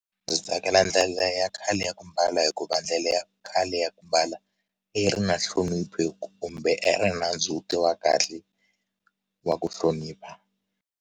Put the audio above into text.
Ndzi tsakela ndlela ya khale ya ku mbala hi ku va ndlela ya khale ya ku mbala i ri na nhlonipho kumbe a ri ndzhuti wa kahle wa ku hlonipha.